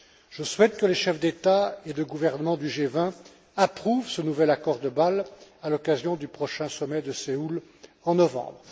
Je souhaite que les chefs d'État et de gouvernement du G20 approuvent ce nouvel accord de Bâle à l'occasion du prochain sommet de Séoul, en novembre.